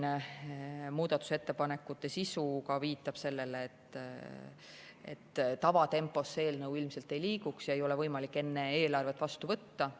Nende muudatusettepanekute obstruktsiooniline sisu viitab sellele, et tavatempos eelnõu ilmselt edasi ei liiguks ja seda ei oleks võimalik enne eelarvet vastu võtta.